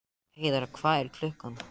Heiðar, hvað er klukkan?